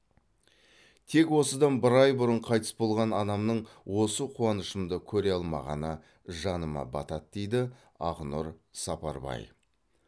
тек осыдан бір ай бұрын қайтыс болған анамның осы қуанышымды көре алмағаны жаныма батады дейді ақнұр сапарбай